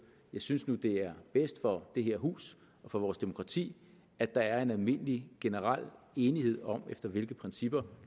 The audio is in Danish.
jeg synes nu det er bedst for det her hus og for vores demokrati at der er en almindelig generel enighed om efter hvilke principper